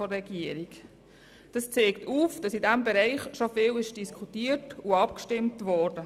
Diese zeigt auf, dass in diesem Bereich bereits viel diskutiert und mehrmals abgestimmt wurde.